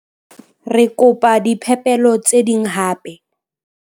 Re kopa diphepelo tse ding hape.